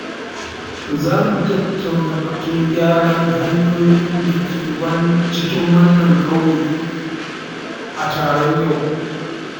Za mu tattauna batun gyaran hanyoyin da ke cikin wannan ƙauye a taron yau.